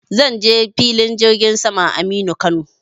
Zan je filin jirgin saman Aminu Kano.